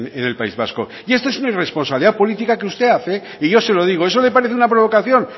en el país vasco y esto es una irresponsabilidad política que usted hace y yo se lo digo eso le parece una provocación